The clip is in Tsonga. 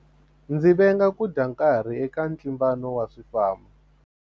Ndzi venga ku dya nkarhi eka ntlimbano wa swifambo.